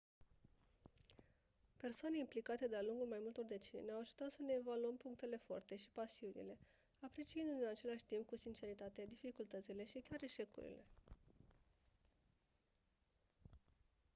persoane implicate de-a lungul mai multor decenii ne-au ajutat să ne evaluăm punctele forte și pasiunile apreciindu-ne în același timp cu sinceritate dificultățile și chiar eșecurile